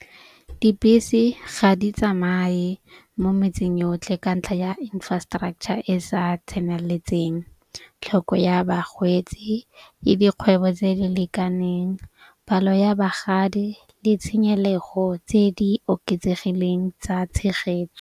Dibese ga di tsamaye mo metseng yotlhe ka ntlha ya infrastructure e sa tseneletseng, tlhoko ya bagwetsi le dikgwebo tse di lekaneng palo ya bagadi le tshenyelego tse di oketsegileng tsa tshegetso.